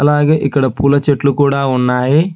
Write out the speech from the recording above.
అలాగే ఇక్కడ పూల చెట్లు కూడా ఉన్నాయి.